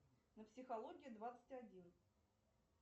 на психологии двадцать один